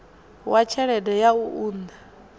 wa tshelede ya u unḓa